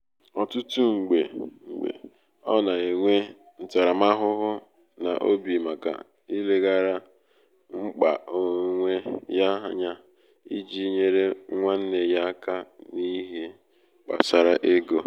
ọtụtụ mgbe mgbe ọ na-enwe ntaramahụhụ um n’obi maka ileghara mkpa onwe um ya anya iji nyere nwanne ya aka nihe um gbasara ego